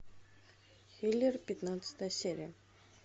киллер пятнадцатая серия